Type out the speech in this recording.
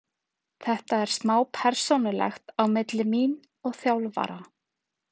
Þetta er smá persónulegt á milli mín og þjálfara.